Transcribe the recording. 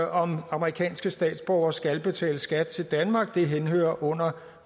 om amerikanske statsborgere skal betale skat til danmark det henhører under